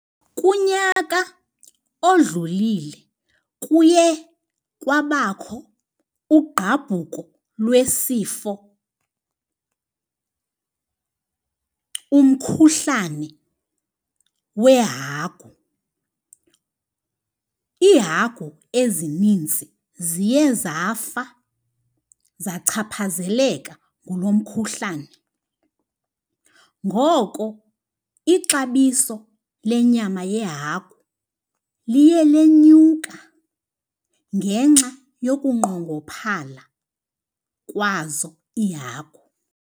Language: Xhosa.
Kunyaka odlulile kuye kwabakho ugqabhuko lwesifo umkhuhlane weehagu. Iihagu ezininzi ziye zafa zachaphazeleka ngulo mkhuhlane. Ngoko ixabiso lenyama yehagu liye lenyuka ngenxa yokunqongophala kwazo iihagu.